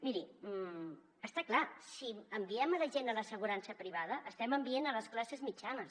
miri està clar si enviem la gent a l’assegurança privada hi estem enviant les classes mitjanes